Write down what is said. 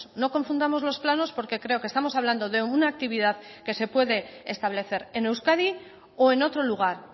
no confundamos los planos porque creo que estamos hablando de una actividad que se puede establecer en euskadi o en otro lugar